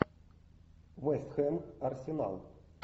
вест хэм арсенал